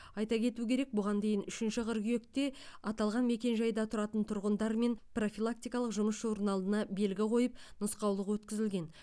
айта кету керек бұған дейін үшінші қыркүйекте аталған мекенжайда тұратын тұрғындармен профилактикалық жұмыс журналына белгі қойып нұсқаулық өткізілген